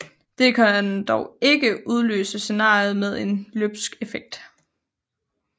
Dette kan dog ikke udløse scenariet med en løbsk effekt